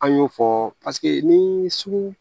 An y'o fɔ paseke ni sugu